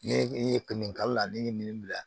Ne e ye finikalala ne ye min bila